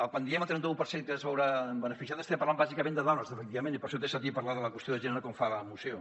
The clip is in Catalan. quan diem el trenta un per cent que es veurà beneficiat estem parlant bàsicament de dones efectivament i per això té sentit parlar de la qüestió de gènere com fa la moció